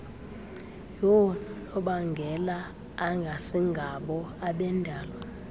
yoononobangela engasingabo abendalo